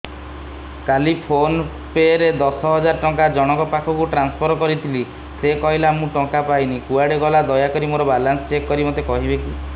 କାଲି PhonePe ରେ ଦଶ ହଜାର ଟଙ୍କା ଜଣକ ପାଖକୁ ଟ୍ରାନ୍ସଫର୍ କରିଥିଲି ସେ କହିଲା ମୁଁ ଟଙ୍କା ପାଇନି କୁଆଡେ ଗଲା ଦୟାକରି ମୋର ବାଲାନ୍ସ ଚେକ୍ କରି ମୋତେ କହିବେ କି